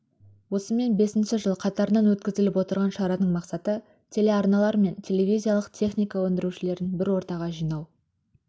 осымен бесінші жыл қатарынан өткізіліп отырған шараның мақсаты телеарналар мен телевизиялық техника өндірушілерін бір ортаға жинау